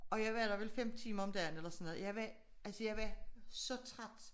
Og jeg var der vel 5 timer om dagen eller sådan jeg var altså jeg var så træt